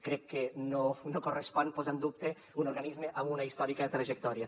crec que no correspon posar en dubte un organisme amb una històrica trajectòria